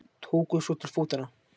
Tóku svo til fótanna.